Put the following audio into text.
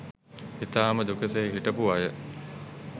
ඉතාම දුකසේ හිටපු අය